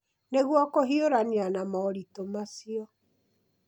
Nĩguo kũhiũrania na moritũ macio,